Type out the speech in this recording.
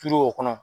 o kɔnɔ